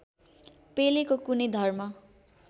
पेलेको कुनै धर्म